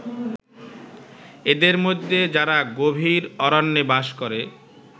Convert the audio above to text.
এদের মধ্যে যারা গভীর অরণ্যে বাস করে